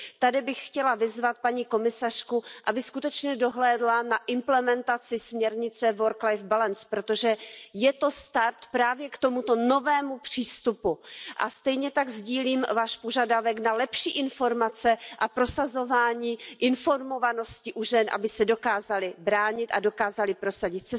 Tady bych chtěla vyzvat paní komisařku, aby skutečně dohlédla na implementaci směrnice work life balance protože je to start právě k tomuto novému přístupu a stejně tak sdílím Váš požadavek na lepší informace a prosazování informovanosti u žen, aby se dokázaly bránit a dokázaly prosadit.